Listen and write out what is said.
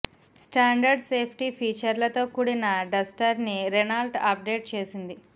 standard safety ఫీచర్లతో కూడిన Duster ని రెనాల్ట్ అప్డేట్ చేసింది